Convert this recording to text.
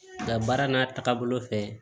Nka baara n'a taabolo fɛ